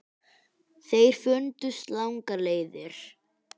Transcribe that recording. Þeir fundust langar leiðir.